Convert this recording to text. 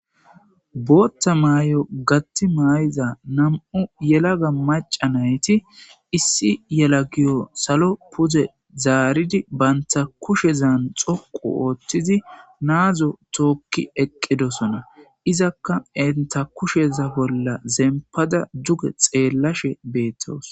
bootta maay7o gatti may7iza nam7u yelaga macanayti issi yela giyo salo puze zaaridi baynta kushezan xoqu ooththizi naazo tookki eqqidosona izakka enta kusheza bolla zempada duge xeellashe beettawus